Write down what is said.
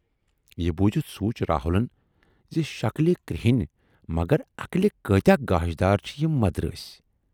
یہِ بوٗزِتھ سوٗنچ راہُلن زِ شکلہٕ کرہٕنۍ، مگر عقلہِ کۭتیاہ گاشدار چھِ یِم مدرٲسۍ۔